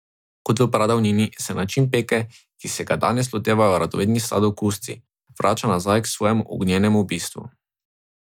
Kot v pradavnini, se način peke, ki se ga danes lotevajo radovedni sladokusci, vrača nazaj k svojemu ognjenemu bistvu.